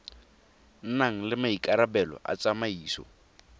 nang le maikarabelo a tsamaiso